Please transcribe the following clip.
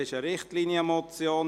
Es ist eine Richtlinienmotion.